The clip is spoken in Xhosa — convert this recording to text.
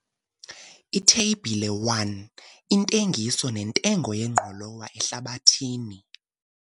Itheyibhile 1- Intengiso nentengo yengqolowa ehlabathini.